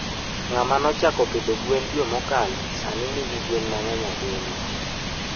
Ngama nochaako pidho gwen dwe mokalo sani nigi gwen mangeny ahinya